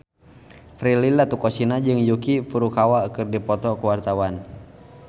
Prilly Latuconsina jeung Yuki Furukawa keur dipoto ku wartawan